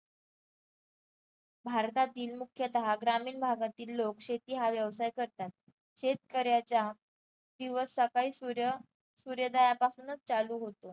भारतातील मुख्यता ग्रामीण भागातील लोक शेती हा व्यवसाय करतात. शेतकऱ्याचा दिवस सकाळी सूर्य सूर्योदयापासूनच चालू होतो.